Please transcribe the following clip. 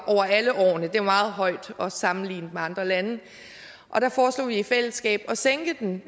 meget højt også sammenlignet med andre lande og der foreslog vi i fællesskab at sænke den